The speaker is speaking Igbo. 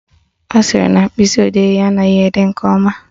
Ọ sịrị na mkpịsịodee ya anaghị ede nke ọma